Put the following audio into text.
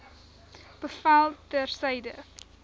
bevel ter syde